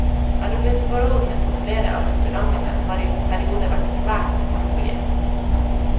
Arbeidsforholdene på flere av restaurantene har i perioder vært svært urolige.